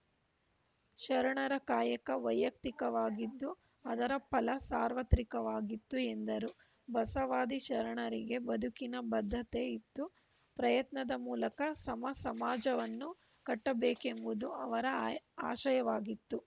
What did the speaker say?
ಶರಣರ ಕಾಯಕ ವೈಯಕ್ತಿಕವಾಗಿತ್ತು ಅದರ ಫಲ ಸಾರ್ವತ್ರಿಕವಾಗಿತ್ತು ಎಂದರು ಬಸವಾದಿ ಶರಣರಿಗೆ ಬದುಕಿನ ಬದ್ಧತೆ ಇತ್ತು ಪ್ರಯತ್ನದ ಮೂಲಕ ಸಮ ಸಮಾಜವನ್ನು ಕಟ್ಟಬೇಕೆಂಬುದು ಅವರ ಅಯ್ ಆಶಯವಾಗಿತ್ತು